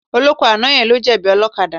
Ọlọ́kọ̀ àná yẹn ló jẹ̀bi ọlọ́kadà.